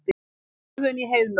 Ölvun í Heiðmörk